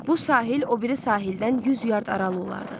Bu sahil o biri sahildən 100 yard aralı olardı.